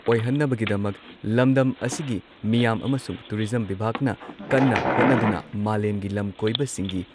ꯑꯣꯏꯍꯟꯅꯕꯒꯤꯗꯃꯛ ꯂꯝꯗꯝ ꯑꯁꯤꯒꯤ ꯃꯤꯌꯥꯝ ꯑꯃꯁꯨꯡ ꯇꯨꯔꯤꯖꯝ ꯕꯤꯚꯥꯒꯅ ꯀꯟꯅ ꯍꯣꯠꯅꯗꯨꯅ ꯃꯥꯂꯦꯝꯒꯤ ꯂꯝ ꯀꯣꯏꯕꯁꯤꯡꯒꯤ